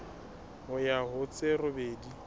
ho ya ho tse robedi